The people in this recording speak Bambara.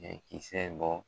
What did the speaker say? kisɛ bɔ